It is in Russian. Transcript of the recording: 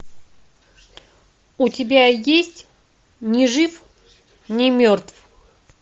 у тебя есть ни жив ни мертв